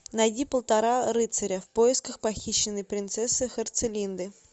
найди полтора рыцаря в поисках похищенной принцессы херцелинды